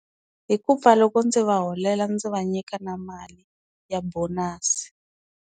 Hi ku pfa loko ndzi va holela ndzi va nyika na mali ya bonus.